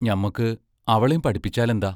ഞമ്മക്ക് അവളേം പഠിപ്പിച്ചാലെന്താ?